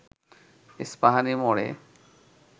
ইস্পাহানি মোড়ে